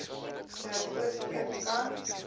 noord oostelike kant